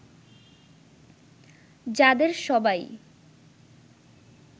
যাদের সবাই